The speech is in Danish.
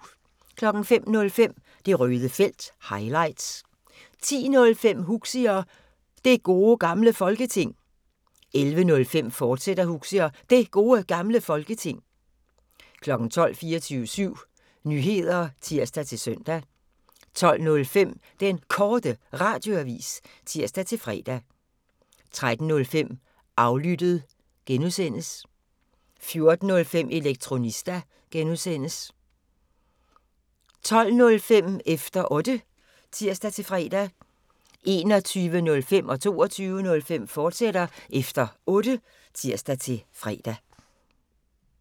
05:05: Det Røde Felt – highlights 10:05: Huxi og Det Gode Gamle Folketing 11:05: Huxi og Det Gode Gamle Folketing, fortsat 12:00: 24syv Nyheder (tir-søn) 12:05: Den Korte Radioavis (tir-fre) 13:05: Aflyttet (G) 14:05: Elektronista (G) 20:05: Efter Otte (tir-fre) 21:05: Efter Otte, fortsat (tir-fre) 22:05: Efter Otte, fortsat (tir-fre)